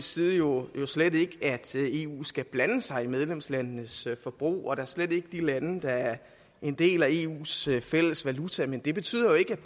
side jo slet ikke at eu skal blande sig i medlemslandenes forbrug og da slet ikke de lande der er en del af eus fælles valuta men det betyder jo ikke